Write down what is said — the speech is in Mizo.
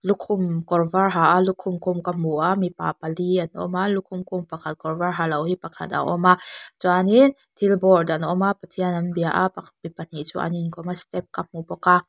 lukhum kawr var ha a lukhum khum ka hmu a mipa pali an awm a lukhum khum pakhat kawr var halo hi pakhat a awm a chuanin thil a bawrd anawm a pathian an bia a pahnih chu an inkawm a step ka hmu bawk a.